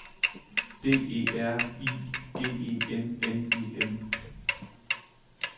D E R I G E N N E M